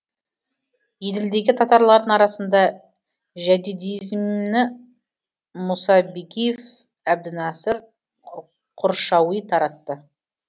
еділдегі татарлардың арасында жәдидизмні мұса бигиев әбдінәсір құршауи таратты